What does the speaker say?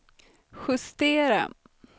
justera